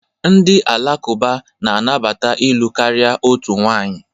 Ndị Alakụba na-anabata ịlụ karịa otu nwanyị.